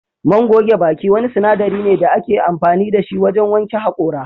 Man goge baki wani sinadari ne da ake amfani da shi wajen wanke hakora